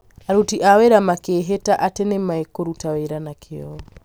aruti a wĩra makĩĩhĩta atĩ nĩ mekũrutĩra wĩra na kĩyo